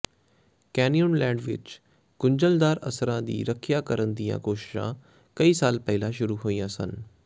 Canyonlands ਵਿੱਚ ਗੁੰਝਲਦਾਰ ਅਸਰਾਂ ਦੀ ਰੱਖਿਆ ਕਰਨ ਦੀਆਂ ਕੋਸ਼ਿਸ਼ਾਂ ਕਈ ਸਾਲ ਪਹਿਲਾਂ ਸ਼ੁਰੂ ਹੋਈਆਂ ਸਨ